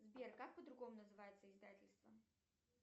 сбер как по другому называется издательство